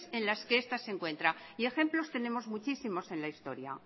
en las que esta se encuentra y ejemplos tenemos muchísimos en la historia